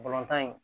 Balontan in